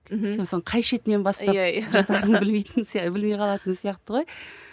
мхм сосын қай шетінен бастап жыртатынын білмейтін білмей қалатын сияқты ғой